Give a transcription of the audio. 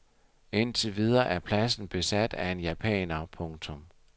Indtil videre er pladsen besat af en japaner. punktum